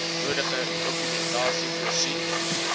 nodige dokumentasie voorsien